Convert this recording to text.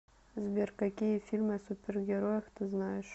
сбер какие фильмы о супергероях ты знаешь